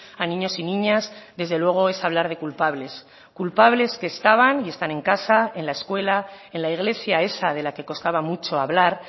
a niños y niñas desde luego es hablar de culpables culpables que estaban y están en casa en la escuela en la iglesia esa de la que costaba mucho hablar